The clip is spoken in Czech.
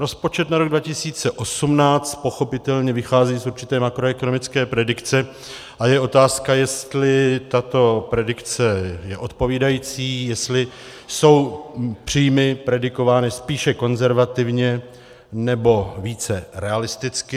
Rozpočet na rok 2018 pochopitelně vychází z určité makroekonomické predikce a je otázka, jestli tato predikce je odpovídající, jestli jsou příjmy predikovány spíše konzervativně, nebo více realisticky.